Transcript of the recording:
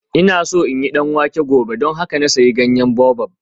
Ina so in yi danwake gobe don haka na sayi ganyen baobab